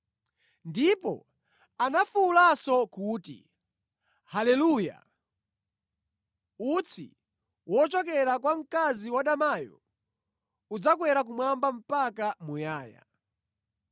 Ndipo anafuwulanso kuti, “Haleluya! Utsi wochokera kwa mkazi wadamayo udzakwera kumwamba mpaka muyaya.”